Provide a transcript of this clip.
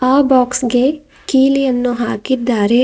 ಆ ಬಾಕ್ಸ್ ಗೆ ಕೀಲಿಯನ್ನು ಹಾಕಿದ್ದಾರೆ.